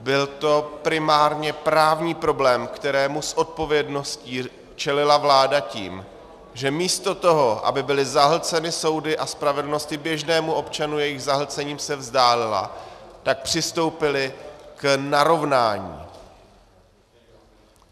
Byl to primárně právní problém, kterému s odpovědností čelila vláda tím, že místo toho, aby byly zahlceny soudy a spravedlnost běžnému občanu jejich zahlcením se vzdálila, tak přistoupili k narovnání.